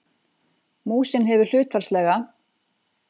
Músin hefur hlutfallslega